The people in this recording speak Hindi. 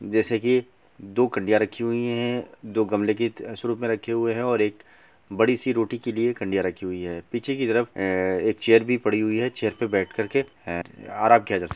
जैसे की दो कड़ियां रखी हुई है दो गमले के रूप में रखे हुए हैं और एक बड़ी सी रोटी के लिए कड़ियां रखी हुई है पीछे की तरफ एक चेयर भी पड़ी हुई है चेयर पे बैठ कर के है आराम किया जा सक --